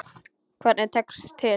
Hvernig tekst til?